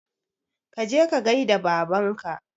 Kaje ka gaida babanka